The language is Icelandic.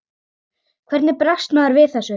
Hvernig bregst maður við þessu?